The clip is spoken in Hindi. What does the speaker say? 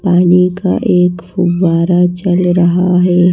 पानी का एक फुवारा चल रहा है।